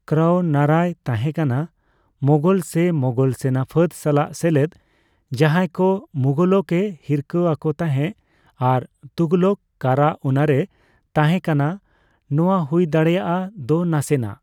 ᱠᱟᱨᱟᱩᱱᱟᱨᱟᱭ ᱛᱟᱦᱮᱸᱠᱟᱱᱟ ᱢᱚᱝᱜᱚᱞ ᱥᱮ ᱢᱚᱝᱜᱚᱞ ᱥᱮᱱᱟᱯᱷᱟᱹᱫ ᱥᱟᱞᱟᱜ ᱥᱮᱞᱮᱫ, ᱡᱟᱦᱟᱭᱠᱚ ᱛᱩᱜᱷᱚᱞᱚᱠ ᱮ ᱦᱤᱨᱠᱟᱹ ᱟᱠᱚ ᱛᱟᱦᱮᱸ, ᱟᱨ ᱛᱩᱜᱷᱞᱚᱠ ᱠᱟᱨᱟ ᱩᱱᱟᱨᱮ ᱛᱟᱷᱮᱸᱠᱟᱱᱟ, ᱱᱚᱣᱟ ᱦᱩᱭ ᱫᱟᱲᱮᱭᱟᱜᱼᱫᱚ ᱱᱟᱥᱮᱱᱟᱜ ᱾